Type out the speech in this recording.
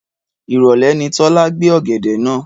Ìrọ̀lẹ́ ni Tọ́lá gbé ọ̀gẹ̀dẹ̀ náà.